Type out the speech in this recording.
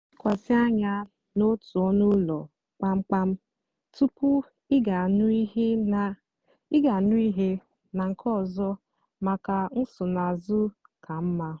lekwasị ányá n'ótú ónú úló kpamkpam túpú ịgá n'íhú nà nkè ọzọ mákà nsonaazụ kà mmá.